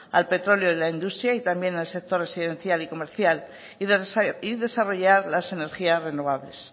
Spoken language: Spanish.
al petróleo en la industria y también al sector residencial y comercial y desarrollar las energías renovables